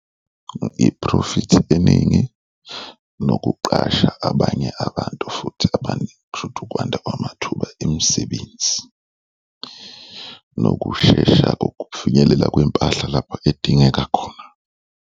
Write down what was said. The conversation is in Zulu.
Iphrofithi eningi nokuqasha abanye abantu futhi abaningi kusho ukuthi ukwanda kwamathuba emisebenzi nokushesha kokufinyelela kwempahla lapho edingeka khona.